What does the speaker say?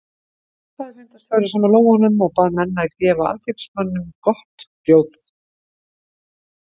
Nú klappaði fundarstjóri saman lófunum og bað menn að gefa alþingismanninum gott hljóð.